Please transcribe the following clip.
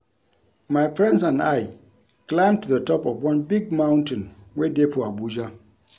My friends and I climb to the top of one big mountain wey dey for Abuja